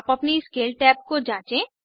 आप अपनी scale tab को जाँचें